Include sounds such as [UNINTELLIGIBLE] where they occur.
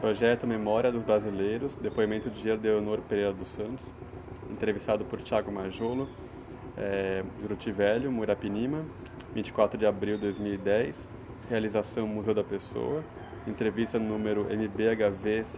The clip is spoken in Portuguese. Projeto Memória dos Brasileiros, depoimento de, [UNINTELLIGIBLE] entrevistado por, [UNINTELLIGIBLE] eh, Juruti Velho, Muirapinima, vinte e quatro de abril de dois mil e dez, realização Museu da Pessoa, entrevista número eme bê agá vê...